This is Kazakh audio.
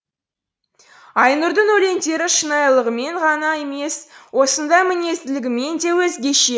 айнұрдың өлеңдері шынайылығымен ғана емес осындай мінезділігімен де өзгеше